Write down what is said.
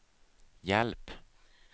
hjälp